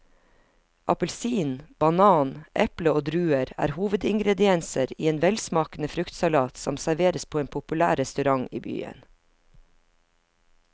Appelsin, banan, eple og druer er hovedingredienser i en velsmakende fruktsalat som serveres på en populær restaurant i byen.